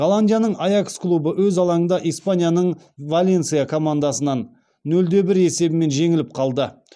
голландияның аякс клубы өз алаңында испанияның валенсия командасынан нөл де бір есебімен жеңіліп қалды